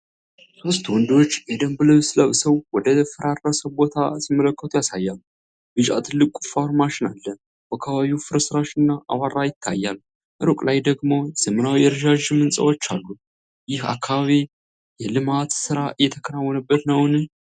ሶስት ወንዶች የደንብ ልብስ ለብሰው ወደ ፈራረሰ ቦታ ሲመለከቱ ያሳያል። ቢጫ ትልቅ ቁፋሮ ማሽን አለ። በአካባቢው ፍርስራሽና አቧራ ይታያል፤ ሩቅ ላይ ደግሞ ዘመናዊ ረዣዥም ሕንፃዎች አሉ። ይህ አካባቢ የልማት ሥራ እየተከናወነበት ነውን?